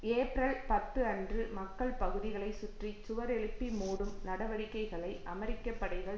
April பத்து அன்று மக்கள் பகுதிகளை சுற்றி சுவர் எழுப்பி மூடும் நடவடிக்கைகளை அமெரிக்க படைகள்